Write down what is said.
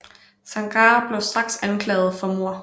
Zangara blev straks anklaget for mord